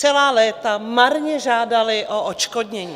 Celá léta marně žádaly od odškodnění.